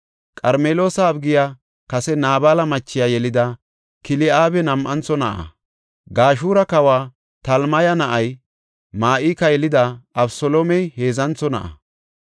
Qarmeloosa Abigiya kase Naabala machiya yelida Kil7aabi nam7antho na7a. Gashura kawa Talmaya na7iya Ma7ika yelida Abeseloomey heedzantho na7a.